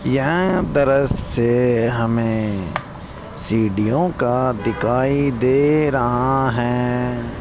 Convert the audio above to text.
यह दृश्य हमें सीढ़ीओ का दिखाई दे रहा हैं।